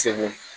Segu